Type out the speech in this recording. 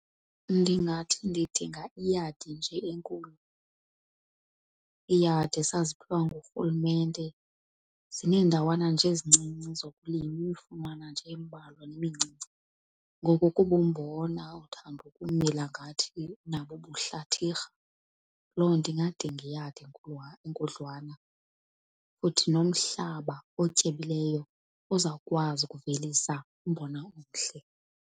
Ndingathi ndidinga iyadi nje enkulu, iiyadi esaziphiwa ngurhulumente zineendawana nje ezincinci zokulima imifunwana nje embalwa nemincinci. Ngoko kuba umbona uthanda ukumila ngathi nabo ubuhlathirha, loo nto ingadinga iyadi enkudlwana futhi nomhlaba otyebileyo ozawukwazi ukuvelisa umbona umhle.